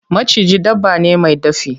Maciji dabba ne mai dafi.